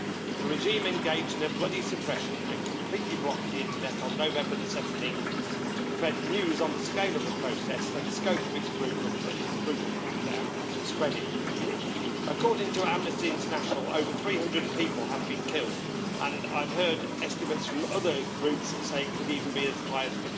The regime engaged in a bloody suppression and completely blocked the internet on 17 November, to prevent news on the scale of the process and the scope of its brutal crackdown spreading. According to Amnesty International, over 300 people have been killed, and I've heard estimates from other groups that say it could even be as high as